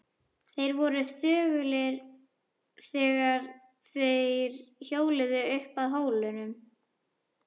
Þeir voru þögulir þegar þeir hjóluðu upp að hólnum.